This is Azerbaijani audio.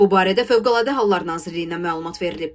Bu barədə Fövqəladə Hallar Nazirliyinə məlumat verilib.